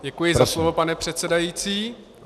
Děkuji za slovo, pane předsedající.